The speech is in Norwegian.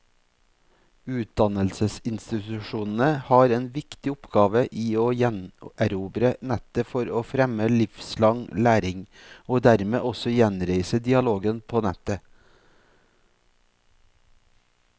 Utdannelsesinstitusjonene har en viktig oppgave i å gjenerobre nettet for å fremme livslang læring, og dermed også gjenreise dialogen på nettet.